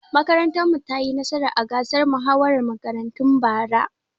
Makarantar mu ta yi nasara a gasar muhawarar makarantu bara.